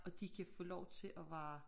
Og de kan få lov til at være